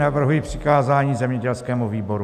Navrhuji přikázání zemědělskému výboru.